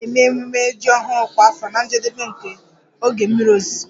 A na-eme ememme ji ọhụrụ kwa afọ na njedebe nke oge mmiri ozuzo